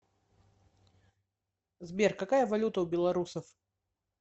сбер какая валюта у белорусов